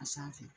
A sanfɛ